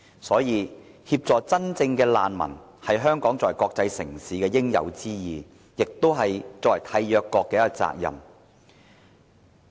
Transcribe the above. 所以，協助真正的難民是香港作為國際城市應有之義，亦是作為締約國的責任。